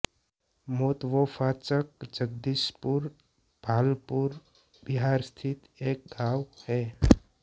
मोतवोफाचक जगदीशपुर भागलपुर बिहार स्थित एक गाँव है